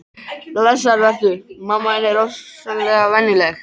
Blessaður vertu, mamma þín er ofsalega venjuleg.